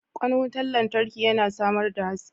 Kwan wutar lantarki yana samar da haske.